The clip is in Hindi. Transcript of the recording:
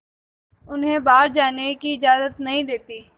उन्हें बाहर जाने की इजाज़त नहीं देती है